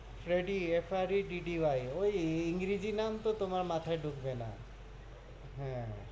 Freddie- F R E D D Y, ওই ইংরেজী নাম তো তুমার মাথায় ডুকবে না হ্য়াঁ.